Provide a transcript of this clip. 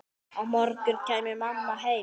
Á morgun kæmi mamma heim.